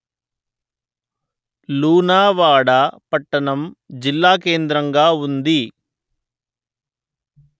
లూనావాడ పట్టణం జిల్లాకేంద్రంగా ఉంది